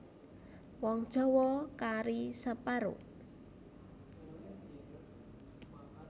Wong Jawa kari separo